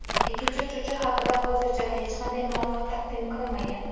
Ikkinchi uchuvchi haqida hozircha hech qanday ma’lumot taqdim qilinmagan.